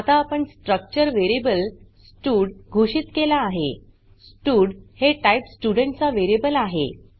आता आपण structure variable stud घोषित केला आहे स्टड हे टाइप स्टुडेंट चा वेरीयेबल आहे